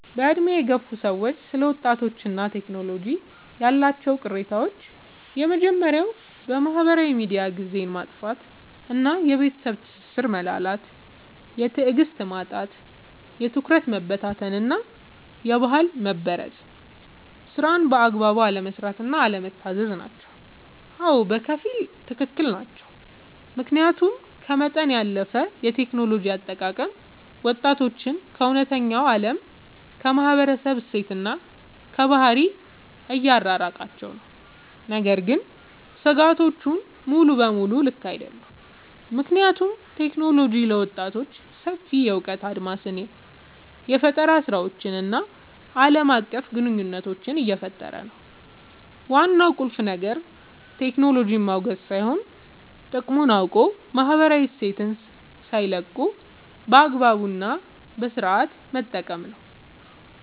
በዕድሜ የገፉ ሰዎች ስለ ወጣቶችና ቴክኖሎጂ ያላቸው ቅሬታዎች የመጀመርያው በማህበራዊ ሚዲያ ጊዜን ማጥፋት እና የቤተሰብ ትስስር መላላት። የትዕግስት ማጣት፣ የትኩረት መበታተን እና የባህል መበረዝ። ስራን በአግባቡ አለመስራት እና አለመታዘዝ ናቸው። አዎ፣ በከፊል ትክክል ናቸው። ምክንያቱም ከመጠን ያለፈ የቴክኖሎጂ አጠቃቀም ወጣቶችን ከእውነተኛው ዓለም፣ ከማህበረሰብ እሴትና ከባህል እያራቃቸው ነው። ነገር ግን ስጋቶቹ ሙሉ በሙሉ ልክ አይደሉም፤ ምክንያቱም ቴክኖሎጂ ለወጣቶች ሰፊ የእውቀት አድማስን፣ የፈጠራ ስራዎችን እና ዓለም አቀፍ ግንኙነት እየፈጠረ ነው። ዋናው ቁልፍ ነገር ቴክኖሎጂን ማውገዝ ሳይሆን፣ ጥቅሙን አውቆ ማህበራዊ እሴትን ሳይለቁ በአግባቡ እና በስነሥርዓት መጠቀም ነው።